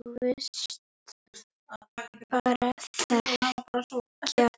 Þú virtist bara þekkja